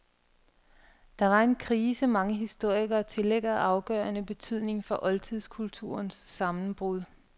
Det var en krise mange historikere tillægger afgørende betydning for oldtidskulturens sammenbrud.